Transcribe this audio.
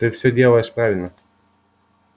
ты всё делаешь правильно